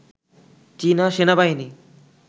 চীনা সেনাবাহিনী